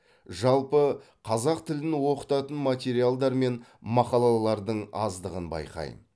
жалпы қазақ тілін оқытатын материалдар мен мақалалардың аздығын байқаймын